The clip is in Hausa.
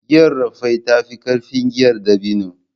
Giyar Raffia ta fi ƙarfin giyar dabino